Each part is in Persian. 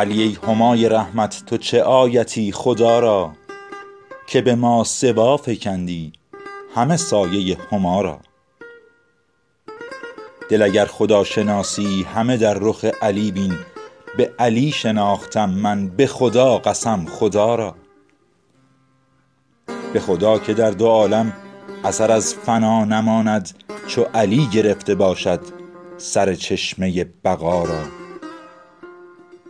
علی ای همای رحمت تو چه آیتی خدا را که به ماسوا فکندی همه سایه هما را دل اگر خداشناسی همه در رخ علی بین به علی شناختم من به خدا قسم خدا را به خدا که در دو عالم اثر از فنا نماند چو علی گرفته باشد سر چشمه بقا را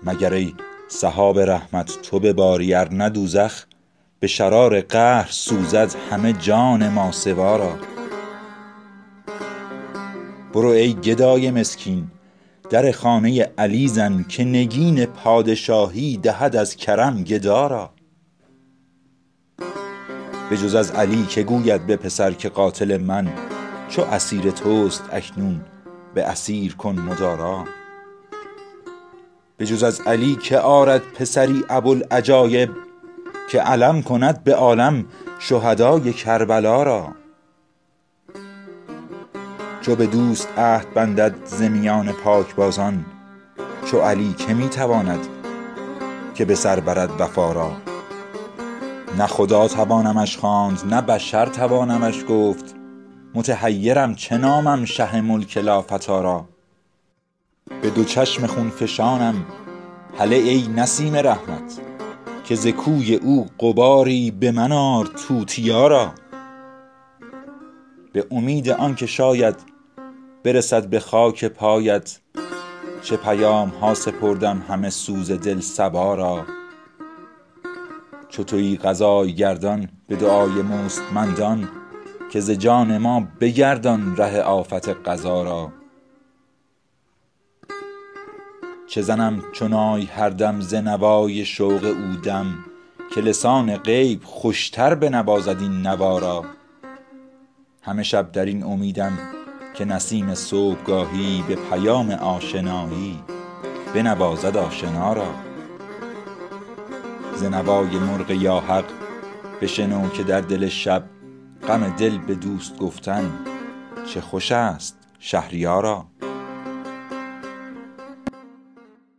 مگر ای سحاب رحمت تو بباری ارنه دوزخ به شرار قهر سوزد همه جان ماسوا را برو ای گدای مسکین در خانه علی زن که نگین پادشاهی دهد از کرم گدا را بجز از علی که گوید به پسر که قاتل من چو اسیر توست اکنون به اسیر کن مدارا بجز از علی که آرد پسری ابوالعجایب که علم کند به عالم شهدای کربلا را چو به دوست عهد بندد ز میان پاکبازان چو علی که می تواند که به سر برد وفا را نه خدا توانمش خواند نه بشر توانمش گفت متحیرم چه نامم شه ملک لافتی را به دو چشم خون فشانم هله ای نسیم رحمت که ز کوی او غباری به من آر توتیا را به امید آن که شاید برسد به خاک پایت چه پیامها سپردم همه سوز دل صبا را چو تویی قضای گردان به دعای مستمندان که ز جان ما بگردان ره آفت قضا را چه زنم چو نای هر دم ز نوای شوق او دم که لسان غیب خوشتر بنوازد این نوا را همه شب در این امیدم که نسیم صبحگاهی به پیام آشنایی بنوازد آشنا را ز نوای مرغ یا حق بشنو که در دل شب غم دل به دوست گفتن چه خوش است شهریارا